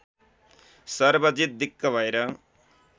सर्वजित दिक्क भएर